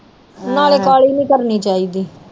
ਨਾਲੇ ਕਾਹਲੀ ਨੀ ਕਰਨੀ ਚਾਹੀਦੀ